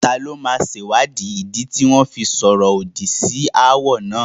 Taló máa sèwáàdí ìdí tí wọ́n fi sọ̀rọ̀ òdì sí awo náà?